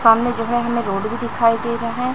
सामने जो है हमे रोड भी दिखाई दे रहा--